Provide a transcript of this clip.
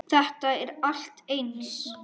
Þetta er allt eins!